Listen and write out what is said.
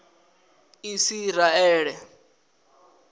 isiraele